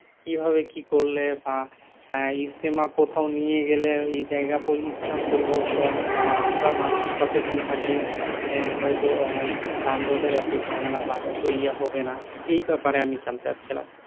কিভাবে কি করলে বা আহ ইজতেমা কোথাও নিয়ে গেলে এই যায়গা স্থান পরিবর্তন বা আমরা মানুষ সচেতন থাকলে আহ হয়তো আহ যানজটের এত ঝামেলা বা এত ইয়ে হবে না। এই ব্যাপারে আমি যানতে চাচ্ছিলাম?